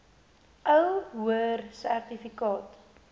ou hoër sertifikaat